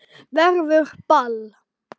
Verður ball?